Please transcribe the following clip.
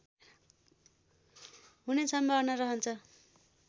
हुने सम्भावना रहन्छ